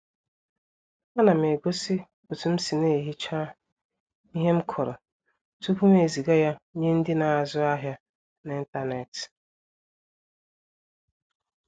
Á nà m egósí òtú m sì na-ehichá íhe m kụrụ tupu m ezìgá yá nyé ndị́ na-ázụ ahiá n'ịntanetị